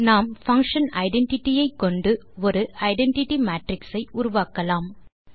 நாம் function identity ஐ கொண்டு ஒரு ஐடென்டிட்டி மேட்ரிக்ஸ் ஐ உருவாக்கலாம்